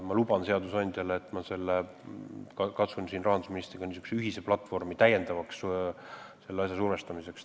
Ma luban seadusandjale, et ma katsun rahandusministriga leida ühise platvormi selle asja täiendavaks survestamiseks.